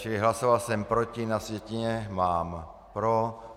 Čili hlasoval jsem proti, na sjetině mám pro.